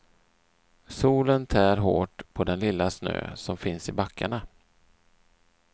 Solen tär hårt på den lilla snö som finns i backarna.